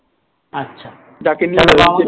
আচ্ছা